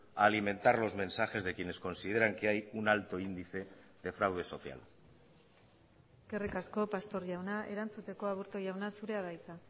a alimentar los mensajes de quienes consideran que hay un alto índice de fraude social eskerrik asko pastor jauna erantzuteko aburto jauna zurea da hitza